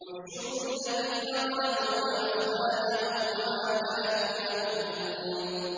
۞ احْشُرُوا الَّذِينَ ظَلَمُوا وَأَزْوَاجَهُمْ وَمَا كَانُوا يَعْبُدُونَ